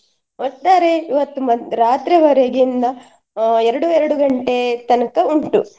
ಒಟ್ಟಾರೆ ಇವತ್~ ಮದ್~ ರಾತ್ರಿವರಗೆಯಿಂದ ಅಹ್ ಎರಡು ಎರಡು ಗಂಟೆ ತನಕ ಉಂಟು.